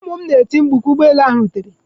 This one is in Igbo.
Ụmụ m nọ na-eti mkpu ka ụgbọ elu ahụ rutere.